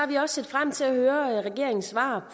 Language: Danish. vi også set frem til at høre regeringens svar